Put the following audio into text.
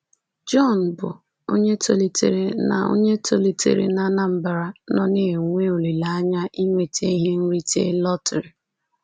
John, bụ́ onye tolitere na onye tolitere na Anambra, nọ na-enwe olileanya inweta ihe nrite lọtrị.